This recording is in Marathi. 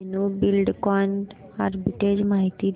धेनु बिल्डकॉन आर्बिट्रेज माहिती दे